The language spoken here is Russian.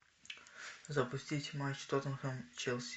запустить матч тоттенхэм челси